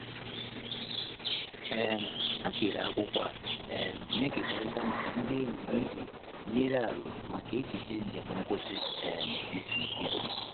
um Ha kere akwụkwọ a um na-ekekọrịta maka ndị enyi iji nye aro maka echiche njem ngwụsị um izu. izu.